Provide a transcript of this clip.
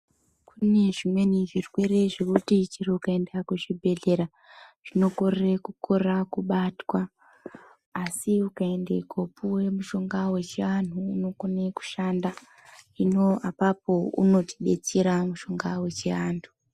Kune zvimweni zvirwere zvekuti chero ukaenda kuchibhedhlera zvinokorera kubatwa asi ukaenda kopuwa mushonga wechivanhu unokonge kushanda hino apapo unotidetsera mushonga wechivanhu.